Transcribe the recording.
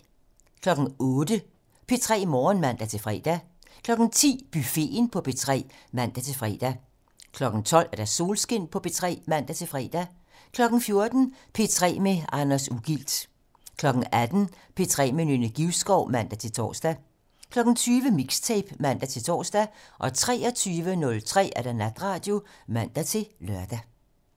08:00: P3 Morgen (man-fre) 10:00: Buffeten på P3 (man-fre) 12:00: Solskin på P3 (man-fre) 14:00: P3 med Anders Ugilt 18:00: P3 med Nynne Givskov (man-tor) 20:00: Mixtape (man-tor) 23:03: Natradio (man-lør)